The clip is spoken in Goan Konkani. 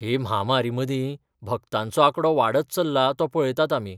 हे म्हामारीमदीं, भक्तांचो आंकडो वाडत चल्ला तो पळयतात आमी.